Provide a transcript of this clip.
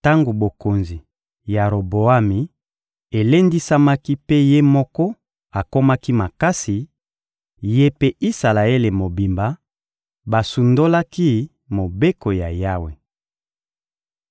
Tango bokonzi ya Roboami elendisamaki mpe ye moko akomaki makasi, ye mpe Isalaele mobimba basundolaki Mobeko ya Yawe.